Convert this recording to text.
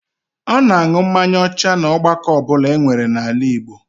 A na-an̄ụ mmanya ọcha n'ọgbakọ ọbụla enwere n'ala Igbo